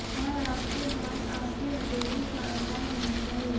और आपके भाग आपके हथेली का आकार होना चाहिए